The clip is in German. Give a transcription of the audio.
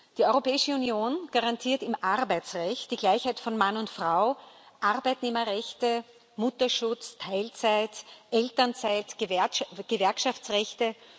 Die Europäische Union garantiert im Arbeitsrecht die Gleichheit von Mann und Frau, Arbeitnehmerrechte, Mutterschutz, Teilzeit, Elternzeit, Gewerkschaftsrechte.